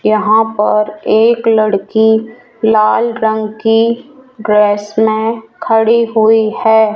यहां पर एक लड़की लाल रंग की ड्रेस में खड़ी हुई है।